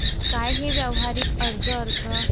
काय हे व्यावहारिक अर्ज अर्थ?